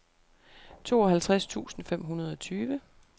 tooghalvtreds tusind fem hundrede og tyve